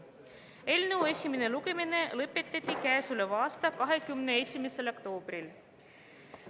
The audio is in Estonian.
Eelnõu esimene lugemine lõpetati 21. oktoobril.